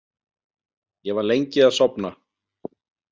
Ég var lengi að sofna.